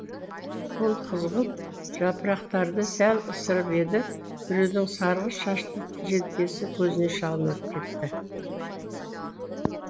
ол қызғылт жапырақтарды сәл ысырып еді біреудің сарғыш шашты желкесі көзіне шалынып кетті